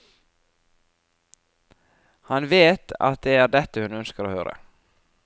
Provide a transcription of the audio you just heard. Han vet at det er dette hun ønsker å høre.